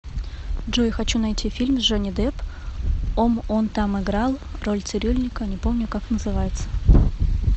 джой хочу найти фильм с джонни депп ом он там играл роль цирюльника не помню как называется